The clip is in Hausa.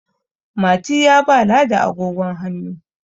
Mati ya ba ladi agogon hannu